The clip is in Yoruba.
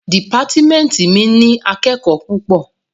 Dìpátímẹ́ntì mi ní akẹ́kòó púpọ̀.